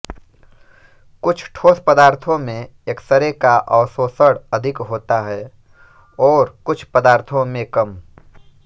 कुछ ठोस पदार्थो में एक्सरे का अवशोषण अधिक होता है ओर कुछ पदार्थो में कम